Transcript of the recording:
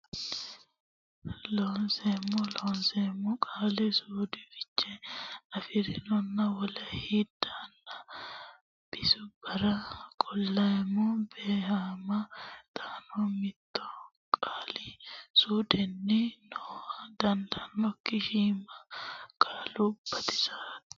Looseemmo Loonseemmo Qaali suudu Fiche afi rinonna wole hilidaanna bisubbara qolleenna beehama xaano mitto qaali suudunni nooha dandaanokki shiima qaalu bisooti.